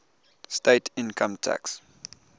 state income tax